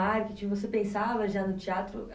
marketing, você pensava já no teatro?